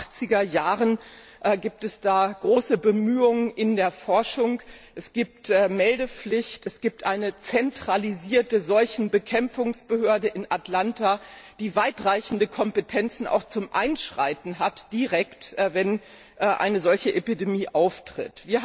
Seit den 80er Jahren gibt es da große Bemühungen in der Forschung, es gibt eine Meldepflicht, es gibt eine zentralisierte Seuchenbekämpfungsbehörde in Atlanta, die weitreichende Kompetenzen zum direkten Einschreiten hat, wenn eine solche Epidemie auftritt.